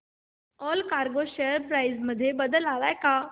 Allcargo share price मध्ये बदल आलाय का